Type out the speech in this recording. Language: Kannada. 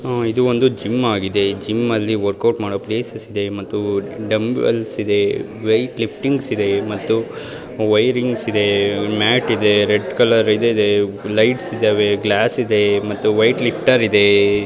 ಹಮ್ ಇದು ಒಂದು ಜಿಮ್ ಆಗಿದೆ ಜಿಮ್ ಅಲ್ಲಿ ವರ್ಕೌಟ್ ಮಾಡೋ ಪ್ಲೇಸಸ್ ಇದೆ ಮತ್ತು ಡಂಬೆಲಸ್ ಇದೆ ವೆಯಿಟ್ ಲಿಫಟಿಂಗ್ಸ್ ಇದೆ ಮತ್ತು ವೈರಿಂಗ್ಸ್ ಇದೆ ಮ್ಯಾಟ್ ಇದೆ ರೆಡ್ ಕಲರ್ ಇದ ಇದೆ ಲೈಟ್ಸ್ ಇದಾವೆ ಗ್ಲಾಸ್ ಇದೆ ಮತ್ತು ವೆಯಿಟ್ ಲಿಫ್ಟರ್ ಇದೆ.